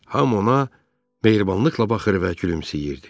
Hamı ona mehribanlıqla baxır və gülümsəyirdi.